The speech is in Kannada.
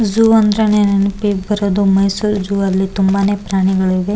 ಝು ಅಂದ್ರೇನೆ ನೆನ್ಪಿಗ್ ಬರೋದು ಮೈಸೂರ್ ಝು ಅಲ್ಲಿ ತುಂಬಾನೇ ಪ್ರಾಣಿಗಳಿವೆ.